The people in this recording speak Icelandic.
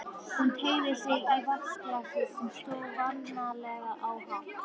Hún teygði sig í vatnsglasið sem stóð vanalega á nátt